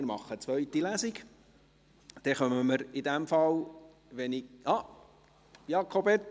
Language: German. Ich stelle den Antrag auf eine Lesung.